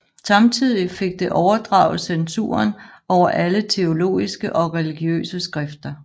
Samtidig fik det overdraget censuren over alle teologiske og religiøse skrifter